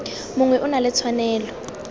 mongwe o na le tshwanelo